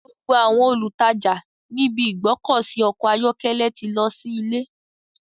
Gbogbo àwọn olùtajà ní ibi ìgbọ́kọ̀sí ọkọ̀ ayọ́kẹ́lẹ́ ti lọ sí ilé.